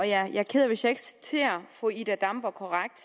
jeg er ked af hvis jeg ikke citerer fru ida damborg korrekt